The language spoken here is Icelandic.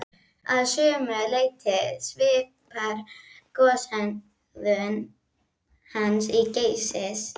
Að sumu leyti svipar goshegðun hans til Geysis.